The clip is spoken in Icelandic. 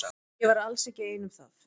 Ég var alls ekki ein um það.